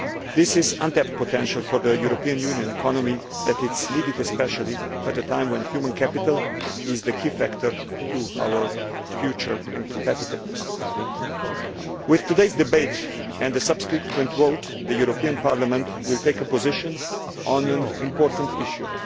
This is an untapped potential for the European Union economy that is needed especially at a time when human capital is the key factor for our future and for competitiveness. With today's debate and the subsequent vote, the European Parliament will take a position on an important issue.